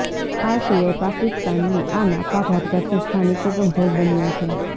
આ સિવાય પાકિસ્તનની આ નાપાક હરકતથી સ્થાનિકો પણ ભોગ બન્યા છે